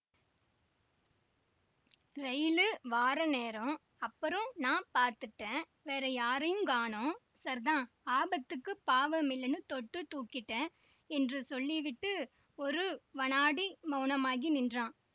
rail வார நேரம்அப்புறம் நான் பாத்துட்டேன்வேற யாரையுங்காணோம் சர்த்தான் ஆபத்துக்குப் பாவமில்லேன்னு தொட்டுத் தூக்கிட்டேன் என்று சொல்லிவிட்டு ஒரு வநாடி மௌனமாகி நின்றான்